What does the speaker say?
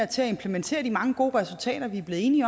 til at implementere de mange gode resultater vi er blevet enige